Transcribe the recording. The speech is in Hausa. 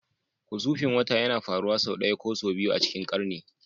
Husufin wata yana faruwa sau ɗaya ko sau biyu a cikin ƙarni